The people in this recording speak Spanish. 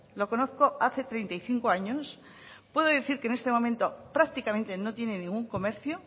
lo conozco hace treinta y cinco años puedo decir que en este momento prácticamente no tiene ningún comercio